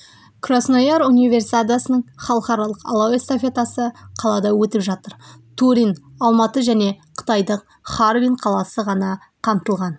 краснояр универсиадасының халықаралық алау эстафетасы қалада өтіп жатыр турин алматы және қытайдық харбин қаласы ғана қамтылған